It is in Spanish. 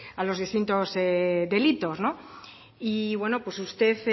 a los distintos delitos y bueno pues usted